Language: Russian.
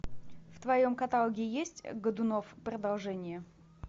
в твоем каталоге есть годунов продолжение